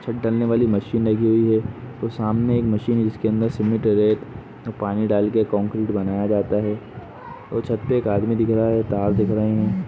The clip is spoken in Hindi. छत ढालने वाली मशीन लगी हुई है और सामने एक मशीने जिसके अंदर सीमेंट रेत पानी डाल के कंक्रीट बनाया जाता है और छत पे एक आदमी दिख रहा है तार दिख रही है।